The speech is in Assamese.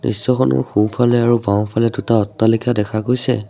দৃশ্যখনৰ সোঁফালে আৰু বাওঁফালে দুটা অট্টালিকা দেখা গৈছে।